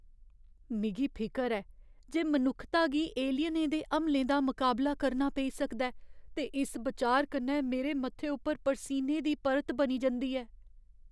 मिगी फिकर ऐ जे मनुक्खता गी एलियनें दे हमले दा मकाबला करना पेई सकदा ऐ ते इस बिचार कन्नै मेरे मत्थे उप्पर परसीने दी परत बनी जंदी ऐ।